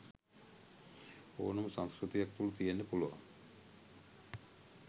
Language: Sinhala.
ඕනම සංස්කෘතියක් තුළ තියෙන්න පුළුවන්.